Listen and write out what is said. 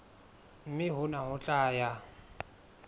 mme hona ho tla ya